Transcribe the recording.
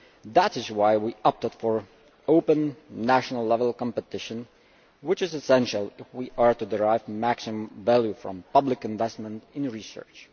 That is why we opted for open national level competition, which is essential if we are to derive maximum value from public investment in research.